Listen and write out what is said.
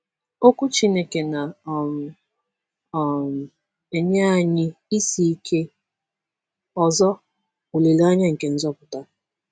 Okwu Chineke na um - um enye anyị isi ike ọzọ — olileanya nke nzọpụta.